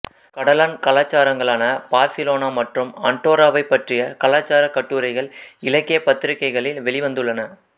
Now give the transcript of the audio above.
கடலான் கலாச்சாரங்களான பார்சிலோனா மற்றும் அன்டோராவை பற்றிய கலாச்சார கட்டுரைகள் இலக்கிய பத்திரிக்கைகளில் வெளிவந்துள்ளன